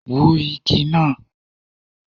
Wú igi náà!